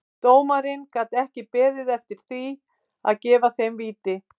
Dómarinn gat ekki beðið eftir því að gefa þeim víti.